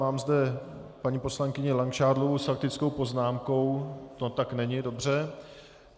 Mám zde paní poslankyni Langšádlovou s faktickou poznámkou - to tak není, dobře.